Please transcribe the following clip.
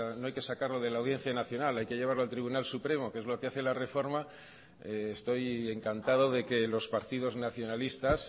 no hay que sacarlo de la audiencia nacional hay que llevarlo al tribunal supremo que es lo que hace la reforma estoy encantado de que los partidos nacionalistas